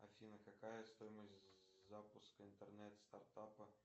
афина какая стоимость запуска интернет стартапа